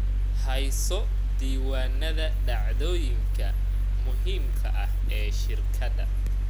Hayso diiwaanada dhacdooyinka muhiimka ah ee shirkadda.